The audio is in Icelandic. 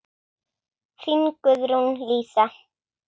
Þín, Guðrún Lísa.